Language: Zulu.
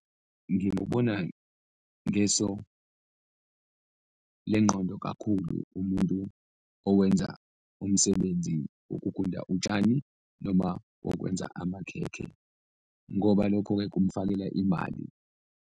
Ngikubona ngeso lengqondo kakhulu umuntu owenza umsebenzi wokugunda utshani noma wokwenza amakhekhe ngoba lokho-ke kumfakela imali.